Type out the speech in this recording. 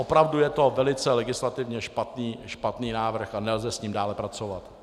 Opravdu je to velice legislativně špatný návrh a nelze s ním dále pracovat.